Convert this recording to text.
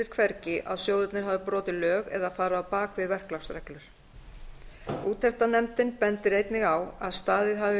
hvergi að sjóðirnir hafi brotið lög eða farið á bak við verklagsreglur úttektarnefndin bendir einnig á að staðið hafi